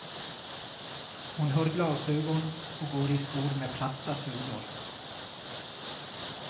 Hon har glasögon och går i skor med platta sulor.